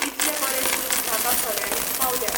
इतले बरे शूज म्हाका खऱ्यानीच पावल्या.